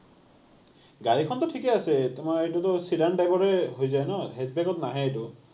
গাড়ীখনটো ঠিকেই আছে, তোমাৰ এইটোতো SEDAN type ৰে হৈ যায় ন। নাহে এইটো।